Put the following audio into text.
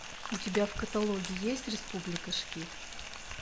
у тебя в каталоге есть республика шкид